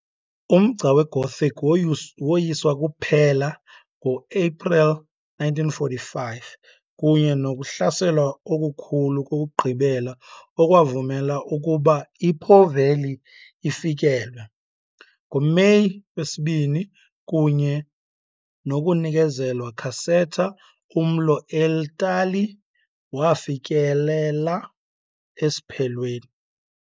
Umgca weGothic woyiswa kuphela ngo-Aprili 1945 kunye nokuhlaselwa okukhulu kokugqibela okwavumela ukuba iPo Valley ifikelwe, ngoMeyi wesi-2, kunye nokunikezelwa Caserta, umlo eItali wafikelela esiphelweni.